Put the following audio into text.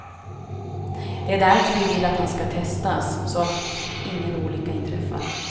Det är därför vi vill att han ska testas, så att ingen olycka inträffar.